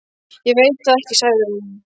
Ég veit það ekki sagði hún.